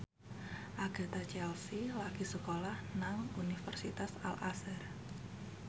Agatha Chelsea lagi sekolah nang Universitas Al Azhar